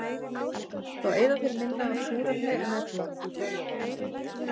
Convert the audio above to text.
Þá eyða þeir minna af súrefni en ella.